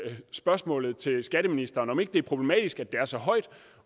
spørgsmålet til skatteministeren nemlig om ikke det er problematisk at det er så højt